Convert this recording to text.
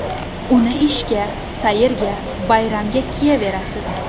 Uni ishga, sayrga, bayramga kiyaverasiz.